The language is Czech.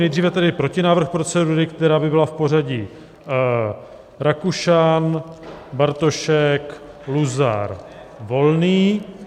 Nejdříve tedy protinávrh procedury, která by byla v pořadí: Rakušan, Bartošek, Luzar, Volný.